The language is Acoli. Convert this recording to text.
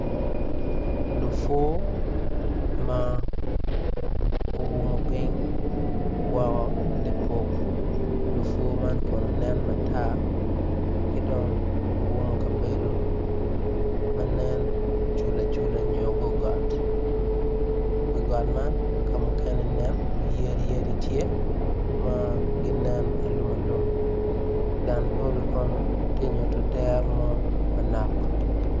Lupur ma oumo ping woko lipuk lupur man kono nen matar kidong oumo kabedo manen cula cula nyo gogot wi got man kamukene nen yadi yadi tye manen alum alum dang polo kono tye nyuto dero manok.